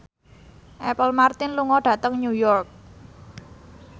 Apple Martin lunga dhateng New York